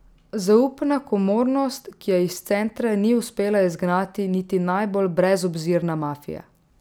Zaupna komornost, ki je iz centra ni uspela izgnati niti najbolj brezobzirna mafija.